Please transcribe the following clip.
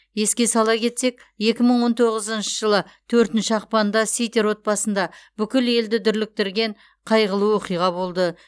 еске сала кетсек екі мың он тоғызыншы жылы төртінші ақпанда ситер отбасында бүкіл елді дүрліктірген қайғылы оқиға болды